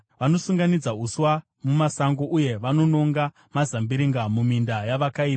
Vanosunganidza uswa mumasango, uye vanononga mazambiringa muminda yavakaipa.